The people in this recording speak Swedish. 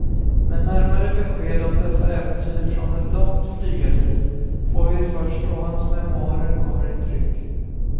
Men närmare besked om dessa äventyr från ett långt flygarliv får vi först då hans memoarer kommer i tryck.